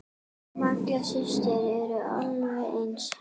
Malla systir eru alveg eins.